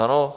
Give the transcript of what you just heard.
Ano?